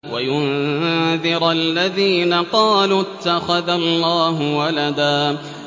وَيُنذِرَ الَّذِينَ قَالُوا اتَّخَذَ اللَّهُ وَلَدًا